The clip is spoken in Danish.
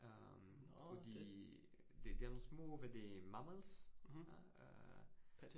Øh og de det det er nogle små hvad det mammals øh